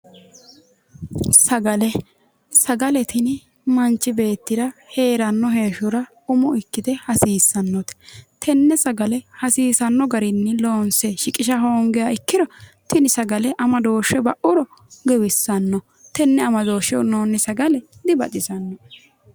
Sagale sagale tini manchi beettira heeranno heeshshora umo ikkite hasiissannote tenne sagale hasiisanno garinni loonse shiqisha hoongiha ikkiro tini sagale amadooshshe ba'uro giwissanno tenne amadooshshe hunnoonni sagale dibaxisanno